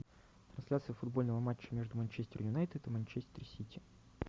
трансляция футбольного матча между манчестер юнайтед и манчестер сити